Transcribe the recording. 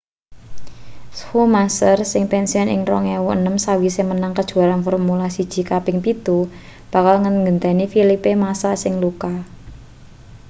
schumacher sing pensiun ing 2006 sawise menang kejuaraan formula 1 kaping pitu bakal nggenteni felipe massa sing luka